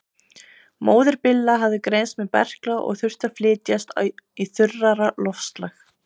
Móðir Billa hafði greinst með berkla og þurfti að flytjast í þurrara loftslag.